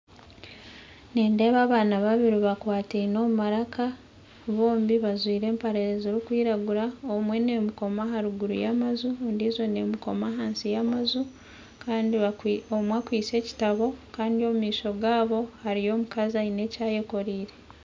Nindeeba abaana babiri bakwatine omumaraka, bombi bazwire empare ziri kwiragura, omwe nemukoma aharuguru yamaju ondiijo nemukoma ahansi yamaju kandi omwe akwise ekitabo Kandi omumaisho gaabo hariyo omukazi asine ekyayekorire